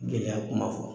Gɛlɛya kuma fɔ